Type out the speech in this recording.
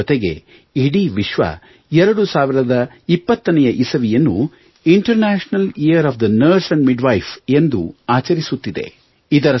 ಇದರ ಜೊತೆಗೆ ಇಡೀ ವಿಶ್ವವು 2020 ನೆ ಇಸವಿಯನ್ನು international year of the nurse and midwife ಎಂದು ಆಚರಿಸುತ್ತಿದೆ